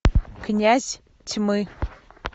князь тьмы